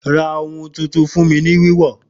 Ra ohun tuntun fún mi ní wíwọ̀